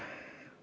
Jah.